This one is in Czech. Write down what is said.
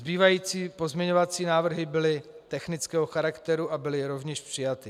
Zbývající pozměňovací návrhy byly technického charakteru a byly rovněž přijaty.